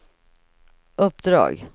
uppdrag